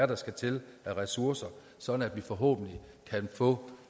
der skal til af ressourcer så vi forhåbentlig kan få